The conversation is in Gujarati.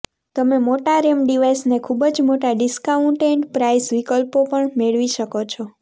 તમે મોટા રેમ ડિવાઇસને ખૂબ જ મોટા ડિસ્કાઉન્ટેડ પ્રાઈસ વિકલ્પો પર પણ મેળવી શકો છો